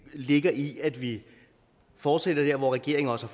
ligger i at vi fortsætter der hvor regeringen også